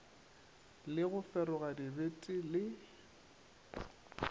le go feroga dibete le